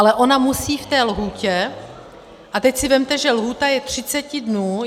Ale ona musí v té lhůtě - a teď si vezměte, že lhůta je 30 dnů.